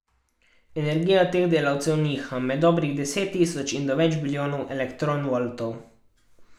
Energija teh delcev niha med dobrih deset tisoč do več bilijonov elektronvoltov.